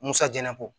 Musajalan bɔ